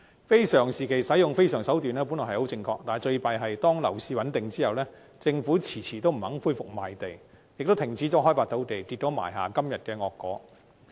非常時期使用非常手段，本來十分正確，但最糟糕的是，當樓市穩定後，政府遲遲不肯恢復賣地，也停止開發土地，結果埋下今天的惡果。